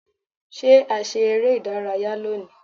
Ṣé a ṣe eré ìdárayá lónìí.?